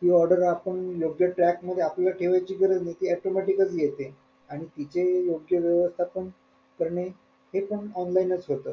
ती order आपण योग्य track मध्ये ठेवायची आपल्याला ठेवायची गरज नाही ती automatic च येते आणि तिथे योग्य वेळेत आपण करणे हे पण online च होत